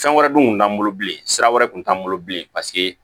Fɛn wɛrɛ dun kun t'an bolo bilen sira wɛrɛ kun t'an bolo bilen paseke